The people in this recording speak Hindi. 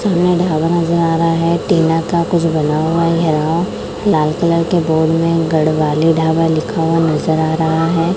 सामने ढाबा नजर आ रहा है टीना का कुछ बना हुआ लाल कलर के बोर्ड में गढ़वाली ढाबा लिखा हुआ नजर आ रहा है।